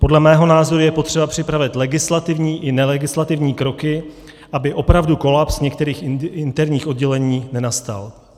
Podle mého názoru je potřeba připravit legislativní i nelegislativní kroky, aby opravdu kolaps některých interních oddělení nenastal.